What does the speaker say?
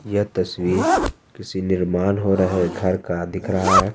यह तस्वीर किसी निर्माण हो रहे घर का दिख रहा है।